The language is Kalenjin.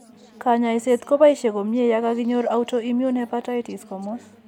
Kanyoiset ko boisie komnye yakaki nyor autoimmune hepatatis komus.